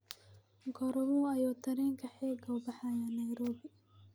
goorma ayuu tareenka xiga u baxayaa nairobi